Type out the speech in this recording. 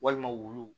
Walima wulu